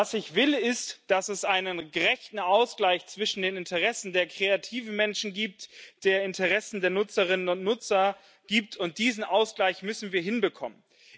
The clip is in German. Ich will, dass es einen gerechten Ausgleich zwischen den Interessen der kreativen Menschen und den Interessen der Nutzerinnen und Nutzer gibt, und diesen Ausgleich müssen wir hinbekommen.